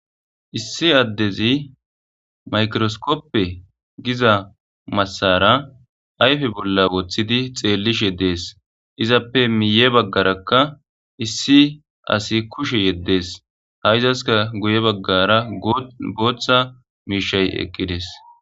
Issi adezi mikroskope giza masara ayffe bola wothidi xelishe dees izzapep miye bagarakka issi asi kushe yedees izaskka guye bagara gutha mishay eqidees.